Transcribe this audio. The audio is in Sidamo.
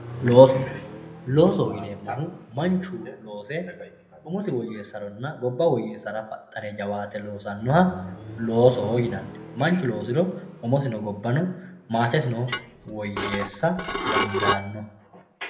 Looso loosoho yinemohu manchu loose umosi woyesarana gobba woyesara jawaate losanoha loosoho yinani manchu loosiro umosino gobano woyeesa dandaano.